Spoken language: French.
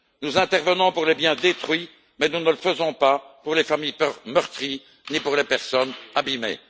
Nous intervenons pour les biens détruits, mais nous ne le faisons pas pour les familles meurtries ni pour les personnes abîmées.